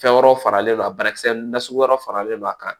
Fɛn wɛrɛw faralen don a banakisɛ na sugu wɛrɛ faralen no a kan